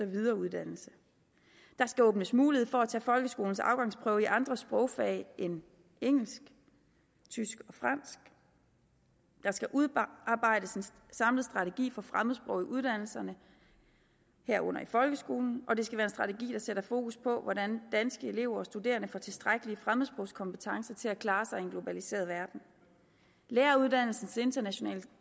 videreuddannelse der skal åbnes mulighed for at tage folkeskolens afgangsprøve i andre sprogfag end engelsk tysk og fransk der skal udarbejdes en samlet strategi for fremmedsprog i uddannelserne herunder i folkeskolen og det skal være en strategi der sætter fokus på hvordan danske elever og studerende får tilstrækkelige fremmedsprogskompetencer til at klare sig i en globaliseret verden læreruddannelsens internationale